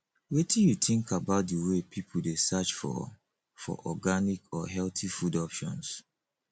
wetin you think about di way people dey search for for organic or healthy food options